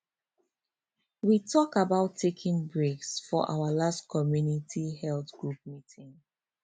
we talk about taking breaks for our last community health group meeting